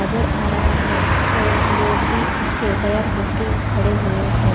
नजर आ रहा है और लोग भी अच्छे तेयार होके खडे हुए है।